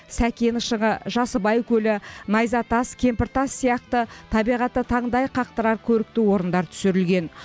сәкен шыңы жасыбай көлі найзатас кемпіртас сияқты табиғаты таңдай қақтырар көрікті орындар түсірілген